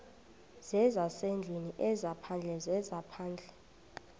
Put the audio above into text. zezasendlwini ezaphandle zezaphandle